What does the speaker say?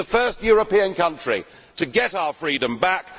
We will be the first European country to get our freedom back.